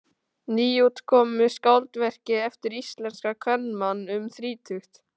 Nýútkomnu skáldverki eftir íslenskan kvenmann um þrítugt.